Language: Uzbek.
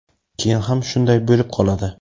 keyin ham shunday bo‘lib qoladi.